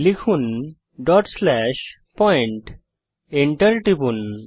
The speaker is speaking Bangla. লিখুন pointডট স্লেস পয়েন্টEnter টিপুন